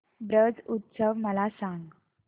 ब्रज उत्सव मला सांग